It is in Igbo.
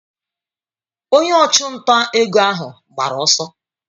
Onye ọchụnta ego ahụ gbara ọsọ.